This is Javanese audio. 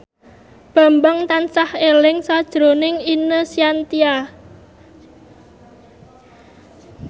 Bambang tansah eling sakjroning Ine Shintya